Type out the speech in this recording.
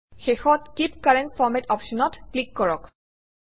শেষত keep current ফৰমাত অপশ্যনত ক্লিক কৰক